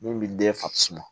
Min bi den fasugu